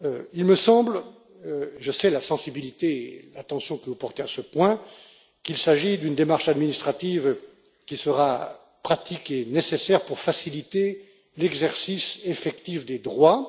Il me semble je sais la sensibilité et l'attention que vous portez à ce point qu'il s'agit d'une démarche administrative qui sera pratique et nécessaire pour faciliter l'exercice effectif des droits.